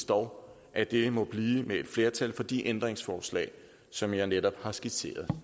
dog at det må blive med et flertal for de ændringsforslag som jeg netop har skitseret